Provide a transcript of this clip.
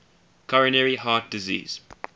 coronary heart disease